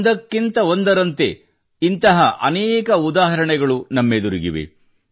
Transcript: ಒಂದಕ್ಕಿಂತ ಒಂದರಂತೆ ಇಂತಹ ಅನೇಕ ಉದಾಹರಣೆಗಳು ನಮ್ಮೆದುರಿಗಿವೆ